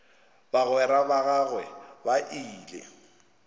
bagwera ba gagwe ba ile